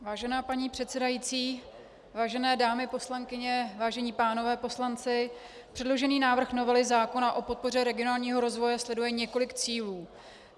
Vážená paní předsedající, vážené dámy poslankyně, vážení pánové poslanci, předložený návrh novely zákona o podpoře regionálního rozvoje sleduje několik cílů.